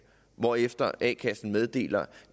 hvorefter a kassen meddeler